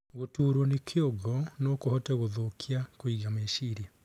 Guturwo ni kĩongo nokuhote guthukia kuiga mecirĩa